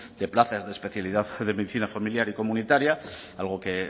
de plazas de especialidad de medicina familiar y comunitaria algo que